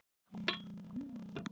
Annað er ekki í boði.